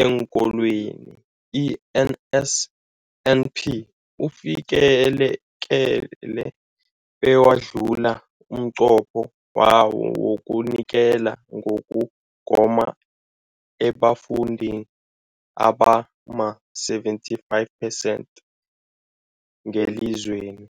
eenKolweni, i-NSNP, ufikelele bewadlula umnqopho wawo wokunikela ngokugoma ebafundini abama-75 percent ngelizweni.